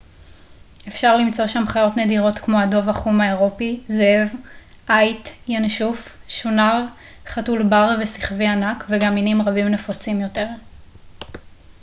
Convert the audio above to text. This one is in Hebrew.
אפשר למצוא שם חיות נדירות כמו הדוב החום האירופי זאב עיט ינשוף שונר חתול בר ושכווי ענק וגם מינים רבים נפוצים יותר